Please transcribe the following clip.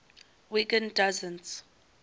wiggin doesn t